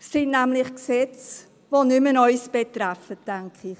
Es sind nämlich Gesetze, die nicht mehr uns betreffen, so denke ich.